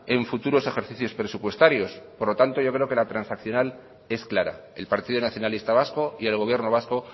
en futuros ejercicios presupuestarios por lo tanto yo creo que la transaccional es clara el partido nacionalista vasco y el gobierno vasco